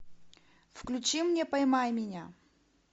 включи мне поймай меня